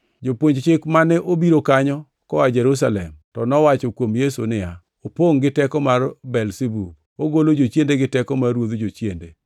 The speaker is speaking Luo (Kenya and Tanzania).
Jopuonj Chik mane obiro kanyo koa Jerusalem to nowacho kuom Yesu niya, “Opongʼ gi teko mar Belzebub! Ogolo jochiende gi teko mar ruodh jochiende.”